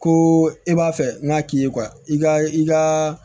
Ko i b'a fɛ n'a k'i ye i ka i ka